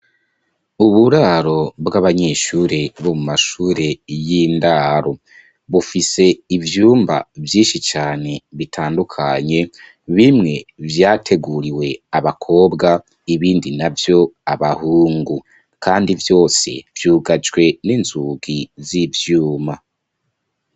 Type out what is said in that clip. Uburaro bw'abanyeshure bo mu mashure y'indaro. Bufise ivyumba vyinshi cane bitandukanye bimwe vyateguriwe abakobwa, ibindi navyo abahungu. Kandi vyose vyugajwe n'inzugi z'ivyuma.